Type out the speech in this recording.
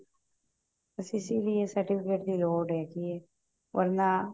ਬਸ ਇਸੀ ਲਈ certificate ਦੀ ਲੋੜ ਹੈਗੀ ਹੈ or ਮੈਂ